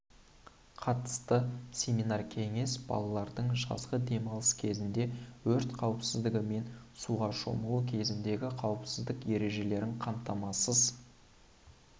қатысты семинар-кеңес балалардың жазғы демалысы кезінде өрт қауіпсіздігі мен суға шомылу кезіндегі қауіпсіздік ережелерін қамтамасыз